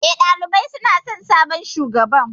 Eh, ɗalibai suna son sabon shugaban.